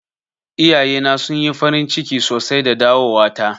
Iyaye na sun yi farin ciki sosai da dawowa ta.